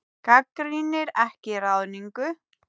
Gagnrýnir ekki ráðningu